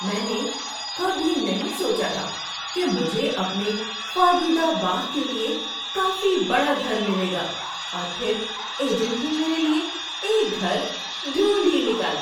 میں نے کبھی نہیں سوچا تھا کہ مجھے اپنے خوابیدہ باغ کے لیے کافی بڑا گھر ملے گا، اور پھر ایجنٹ نے میرے لیے ایک گھر ڈھونڈھ ہی نکالا!